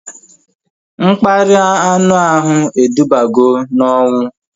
Mkparịa anu ahụ edubago n'onwu